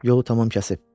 Yolu tamam kəsib.